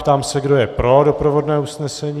Ptám se, kdo je pro doprovodné usnesení.